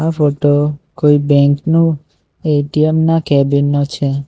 આ ફોટો કોઈ બેંકનું એ_ટી_એમ ના કેબિન નો છે.